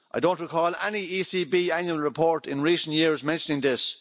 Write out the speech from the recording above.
I don't recall any ECB annual report in recent years mentioning this.